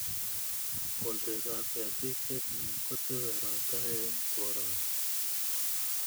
Kolset ap ketik che chang' kotese ropta eng' koroni